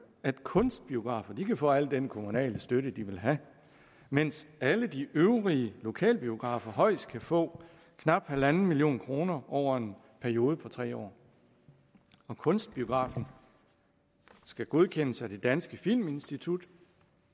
at kunstbiograferne kan få al den kommunale støtte de vil have mens alle de øvrige lokalbiografer højst kan få knap en million kroner over en periode på tre år kunstbiografen skal godkendes af det danske filminstitut